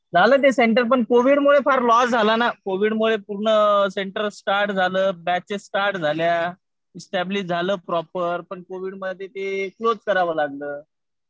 झालं ते सेंटर पण कोविडमुळे फार लॉस झाला ना. कोविडमुळे पूर्ण सेंटर स्टार्ट झालं. बॅचेस स्टार्ट झाल्या. एस्टॅब्लिश झालं प्रॉपर. पण कोविडमध्ये ते क्लोज करावं लागलं.